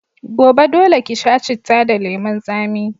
Gobe, dole ki sha citta da lemun tsami.